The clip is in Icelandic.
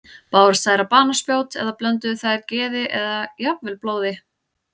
Bárust þær á banaspjót eða blönduðu þær geði og jafnvel blóði?